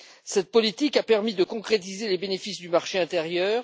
Cette politique a permis de concrétiser les bénéfices du marché intérieur.